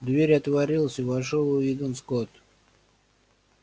дверь отворилась и вошёл уидон скотт